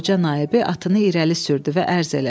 Xanın qoca naibi atını irəli sürdü və ərz elədi.